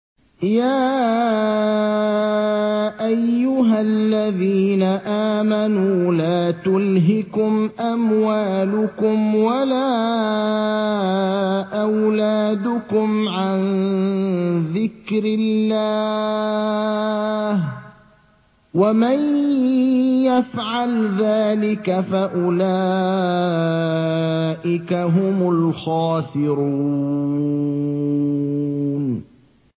يَا أَيُّهَا الَّذِينَ آمَنُوا لَا تُلْهِكُمْ أَمْوَالُكُمْ وَلَا أَوْلَادُكُمْ عَن ذِكْرِ اللَّهِ ۚ وَمَن يَفْعَلْ ذَٰلِكَ فَأُولَٰئِكَ هُمُ الْخَاسِرُونَ